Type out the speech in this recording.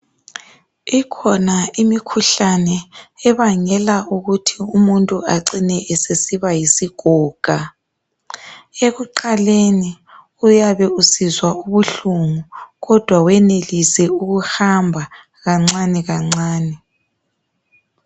Ikhona imikhuhlane ebangela ukuthi umuntu acine esesiba yisigoga ekuqaleni uyabe usizwa ubuhlungu kodwa wenelise ukuhamba kancane kancane.